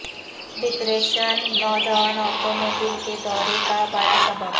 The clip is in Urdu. ڈپریشن نوجوان عورتوں میں دل کے دورے کا بڑا سبب